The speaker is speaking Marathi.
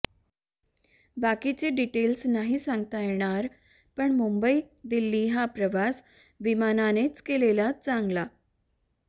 बाकिचे डीटेल्स नाही सांगता येणार पण मुंबई दिल्ली हा प्रवास विमानानेच केलेला चांगला